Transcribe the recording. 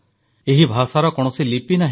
ଏହି ଭାଷାର କୌଣସି ଲିପି ନାହିଁ